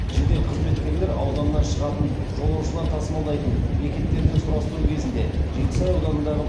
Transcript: жедел қызметкерлер ауданнан шығатын жолаушылар тасымалдайтын бекеттерден сұрастыру кезінде жетісай ауданындағы